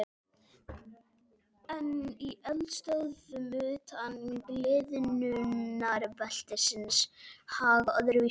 En í eldstöðvum utan gliðnunarbeltisins hagar öðruvísi til.